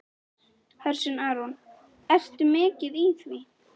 Hersir Aron: Ertu mikið í því?